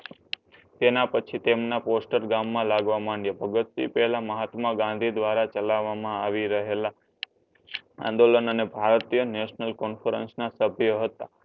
તેના પછી તેમના પોસ્ટર ગામમાં લાગવા માંડ્યા. ભગતસિંહ પેહલા મહાત્મા ગાંધી દ્વારા ચલાવવામાં આવી રહેલા આંદોલન અને ભારતીય નેશનલ comafranc સભ્યો હતા.